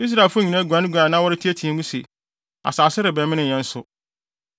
Israelfo nyinaa guanee a na wɔreteɛteɛ mu se, “Asase rebɛmene yɛn nso!”